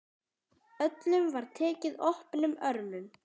Öllum var tekið opnum örmum.